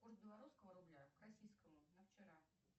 курс белорусского рубля к российскому на вчера